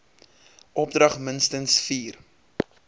opdrag minstens vier